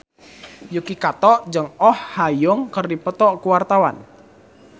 Yuki Kato jeung Oh Ha Young keur dipoto ku wartawan